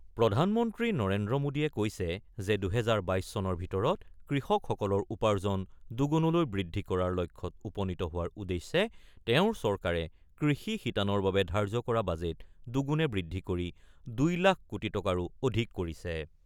প্ৰধানমন্ত্ৰী নৰেন্দ্ৰ মোদীয়ে কৈছে যে ২০২২ চনৰ ভিতৰত কৃষকসকলৰ উপাৰ্জন দুগুণলৈ বৃদ্ধি কৰাৰ লক্ষ্যত উপনীত হোৱাৰ উদ্দেশ্যে তেওঁৰ চৰকাৰে কৃষি শিতানৰ বাবে ধাৰ্য্য কৰা বাজেট দুগুণে বৃদ্ধি কৰি ২ লাখ কোটি টকাৰো অধিক কৰিছে।